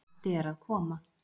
Matti er að koma!